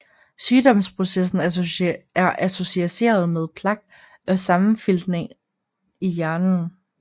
Sygdomsprocessen er associeret med plak og sammenfiltringer i hjernen